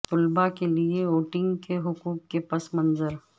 طلباء کے لئے ووٹنگ کے حقوق کے پس منظر